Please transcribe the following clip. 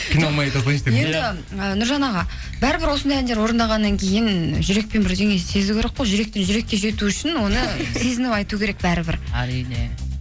қиналмай айта салайыншы деп енді ы нұржан аға бәрібір осындай әндер орындағаннан кейін жүрекпен бірдеңе сезу керек қой жүректен жүрекке жету үшін оны сезініп айту керек бәрібір әрине